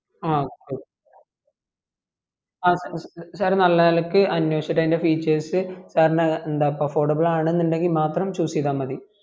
ആ okay okay ആ sir നല്ല നിലക്ക് അനേഷിച്ചിട്ട് അയ്ൻ്റെ features sir ന് effordable ആണെന്ന് ഇണ്ടെങ്കിൽ മാത്രം choose ചെയ്താ മതി